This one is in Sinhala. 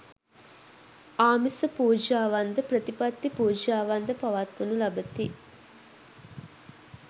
ආමිස පූජාවන්ද ප්‍රතිපත්ති පූජාවන්ද පවත්වනු ලබති.